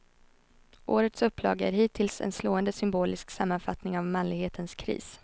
Årets upplaga är hittills en slående symbolisk sammanfattning av manlighetens kris.